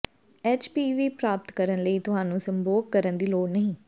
HPV ਪ੍ਰਾਪਤ ਕਰਨ ਲਈ ਤੁਹਾਨੂੰ ਸੰਭੋਗ ਕਰਨ ਦੀ ਲੋੜ ਨਹੀਂ